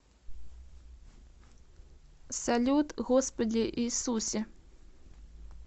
салют господи иисусе